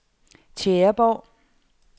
Tjæreborg